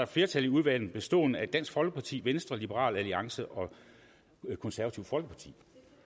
flertal i udvalget bestående af dansk folkeparti venstre liberal alliance og konservative folkeparti